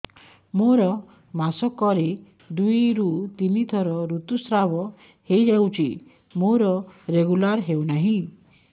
ମୋର ମାସ କ ରେ ଦୁଇ ରୁ ତିନି ଥର ଋତୁଶ୍ରାବ ହେଇଯାଉଛି ମୋର ରେଗୁଲାର ହେଉନାହିଁ